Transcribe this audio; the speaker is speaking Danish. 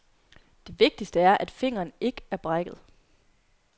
Det vigtigste er, at fingeren ikke er brækket.